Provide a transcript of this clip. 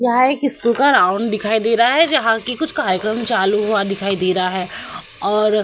यहाँ एक speaker on दिखाई दे रहा है जहाँ कि कुछ कार्यक्रम चालू हुआ दिखाई दे रहा है और --